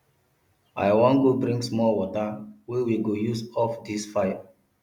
i wan go bring small water wey we go use off dis fire